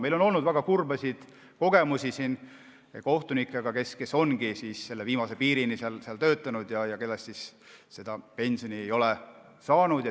Meil on olnud väga kurbi kogemusi kohtunikega, kes ongi viimase piirini töötanud ja kes seda pensioni ei ole saanud.